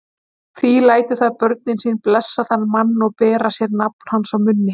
Því lætur það börnin sín blessa þann mann og bera sér nafn hans á munni.